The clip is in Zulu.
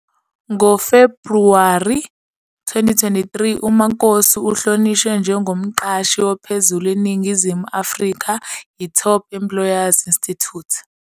NgoFebhuwari 2023 uMakosi uhlonishwe njengoMqashi Ophezulu eNingizimu Afrika yi-Top Employers Institute.